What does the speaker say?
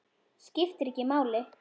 Skiptir ekki máli.